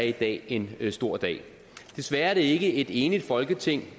i dag en stor dag desværre er det ikke et enigt folketing